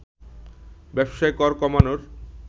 ব্যবসায় কর কমানোর